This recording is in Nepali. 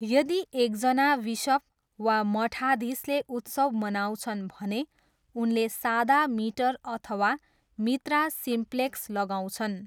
यदि एकजना विसप वा मठाधीशले उत्सव मनाउँछन् भने, उनले सादा मिटर अथवा मित्रा सिम्प्लेक्स लगाउँछन्।